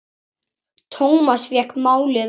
Thomas fékk málið aftur.